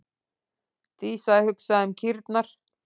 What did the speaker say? Dísa hugsaði um kýrnar.